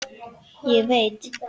Ég veit.